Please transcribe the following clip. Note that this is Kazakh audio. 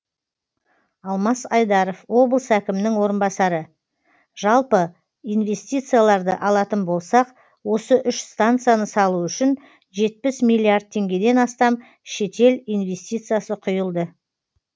алмас айдаров облыс әкімінің орынбасары жалпы инвестицияларды алатын болсақ осы үш станцияны салу үшін жетпіс миллиард теңгеден астам шетел инвестициясы құйылды